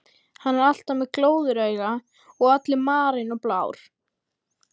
Hann er alltaf með glóðarauga og allur marinn og blár.